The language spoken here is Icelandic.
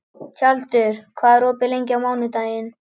Tjaldur, hvað er opið lengi á mánudaginn?